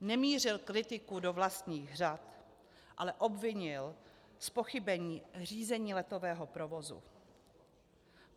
Nemířil kritiku do vlastních řad, ale obvinil z pochybení Řízení letového provozu.